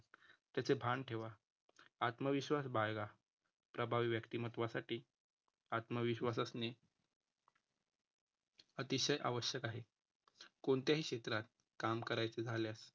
त्याचे भान ठेवा. आत्मविश्वास बाळगा. प्रभावी व्यक्तिमत्त्वासाठीआत्मविश्वास असणे, अतिशय आवश्यक आहे. कोणत्याही क्षेत्रात काम करायचे झाल्यास